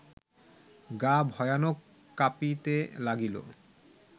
গা ভয়ানক কাঁপিতে লাগিল